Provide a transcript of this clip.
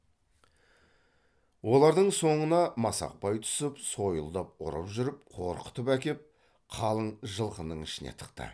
олардың соңына масақбай түсіп сойылдап ұрып жүріп қорқытып әкеп қалың жылқының ішіне тықты